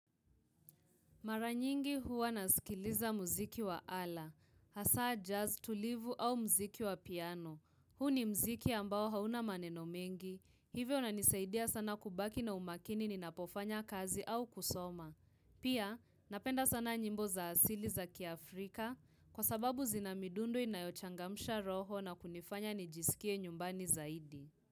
Mara nyingi huwa nasikiliza muziki wa ala, hasa jazz tulivu au muziki wa piano. Huu ni muziki ambao hauna maneno mengi, hivyo na inisaidia sana kubaki na umakini ninapofanya kazi au kusoma. Pia napenda sana nyimbo za asili za kiaAfrika kwasababu zinamidundu inayochangamsha roho na kunifanya nijisikie nyumbani zaidi.